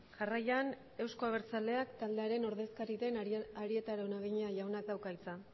jarraian euzko abertzaleak taldearen ordezkari den arieta araunabeña jaunak dauka hitza